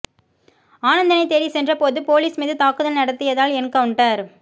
ஆனந்தனை தேடிச் சென்றபோது போலீஸ் மீது தாக்குதல் நடத்தியதால் என்கவுண்டர்